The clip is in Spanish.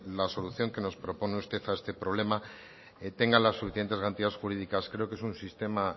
la solución que nos propone usted a este problema tenga las suficientes garantías jurídicas creo que es un sistema